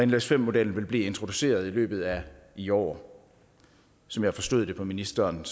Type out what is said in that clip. nles5 modellen vil blive introduceret i løbet af i år og som jeg forstod det på ministeren